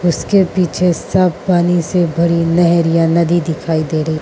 उसके पीछे साफ पानी से भरी नहर या नदी दिखाई दे रही --